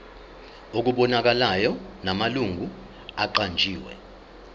okubonakalayo namalungu aqanjiwe